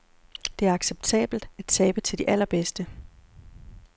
Det er acceptabelt at tabe til de allerbedste.